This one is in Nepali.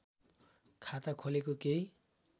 खाता खोलेको केही